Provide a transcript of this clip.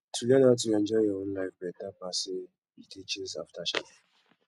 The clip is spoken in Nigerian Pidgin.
to learn how to enjoy your own life beta pass sey you dey chase after shadows